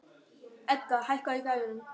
Edgar, hækkaðu í græjunum.